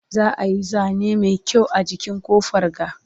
za'a Yi zane Mai kyau a jikin ƙofar ga